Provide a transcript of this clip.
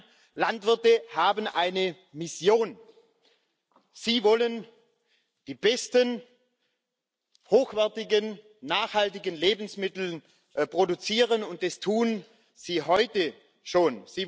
Nein Landwirte haben eine Mission Sie wollen die besten hochwertigen, nachhaltigen Lebensmittel produzieren, und das tun sie heute schon.